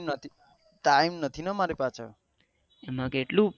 time નથી ને મારી પાસે